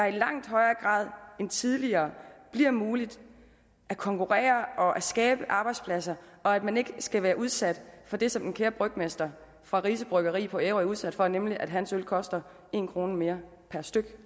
i langt højere grad end tidligere bliver muligt at konkurrere og skabe arbejdspladser og at man ikke skal være udsat for det som den kære brygmester fra rise bryggeri på ærø er udsat for nemlig at hans øl koster en kroner mere per styk